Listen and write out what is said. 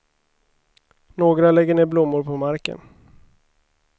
Några lägger ner blommor på marken.